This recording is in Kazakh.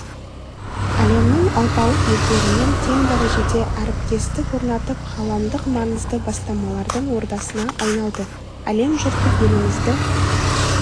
әлемнің алпауыт елдерімен тең дәрежеде әріптестік орнатып ғаламдық маңызды бастамалардың ордасына айналды әлем жұрты елімізді